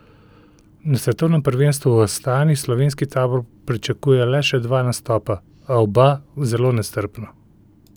Na svetovnem prvenstvu v Astani slovenski tabor pričakuje le še dva nastopa, a oba zelo nestrpno.